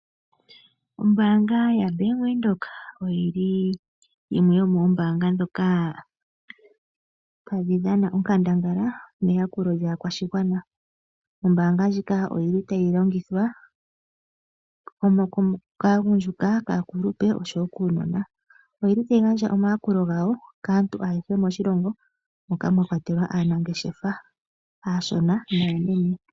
Ombanga ya bank windheok oyili yomombanga ndhoka tadhi dhana onkandangala meyakulo lyaakwashigwana. Ombanga ndjika oyili tayi longithwa kaagundjuka, kaakulupe nokuunona, oyili tayi gandja omayakulo gawo kaantu ayehe moshilongo mwakwatelwa aanangeshefa aanene naashona.